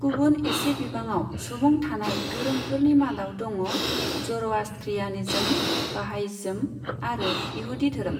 गुबुन एसे बिबाङाव सुबुं थानाय धोरोमफोरनि मादाव दङ ज'र'आस्ट्रियानिज्म, बाहायइज्म आरो इहूदी धोरोम।